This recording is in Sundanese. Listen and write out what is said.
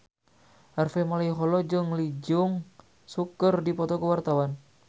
Harvey Malaiholo jeung Lee Jeong Suk keur dipoto ku wartawan